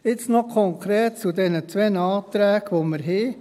Jetzt noch konkret zu diesen beiden Anträgen, die wir haben.